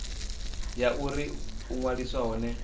ya uri u ṅwaliswa hone